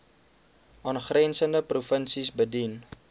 aangrensende provinsies bedien